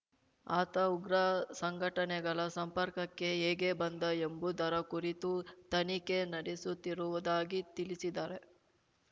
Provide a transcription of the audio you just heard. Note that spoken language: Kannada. ಆತ ಉಗ್ರ ಸಂಘಟನೆಗಳ ಸಂಪರ್ಕಕ್ಕೆ ಹೇಗೆ ಬಂದ ಎಂಬುದರ ಕುರಿತು ತನಿಖೆ ನಡೆಸುತ್ತಿರುವುದಾಗಿ ತಿಳಿಸಿದ್ದಾರೆ